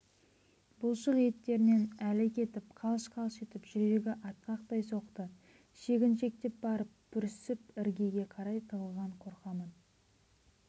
бұлшық еттерінен әлі кетіп қалш-қалш етіп жүрегі атқақтай соқты шегіншектеп барып бүрсіп іргеге қарай тығылған қорқамын